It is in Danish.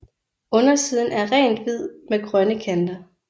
Undersiden er rent hvid med grønne kanter